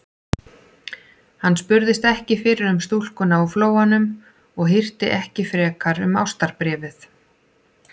Hann spurðist ekki fyrir um stúlkuna úr Flóanum og hirti ekki frekar um ástarbréfið.